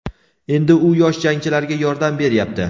Endi u yosh jangchilarga yordam beryapti.